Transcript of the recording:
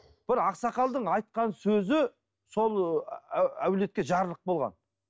бір ақсақалдың айтқан сөзі сол әулетке жарлық болған